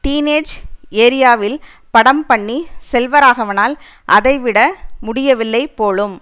dean age ஏரியாவில் படம் பண்ணி செல்வராகவனால் அதைவிட முடியவில்லை போலும்